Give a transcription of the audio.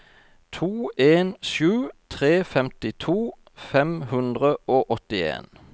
to en sju tre femtito fem hundre og åttien